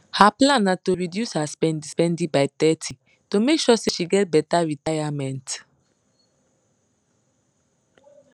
her plan na to reduce her spendispendi by thirty to make sure say she get better retayament